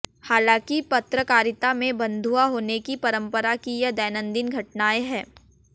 हालांकि पत्रकारिता में बंधुआ होने की परंपरा की यह दैनंदिन घटनाएं हैं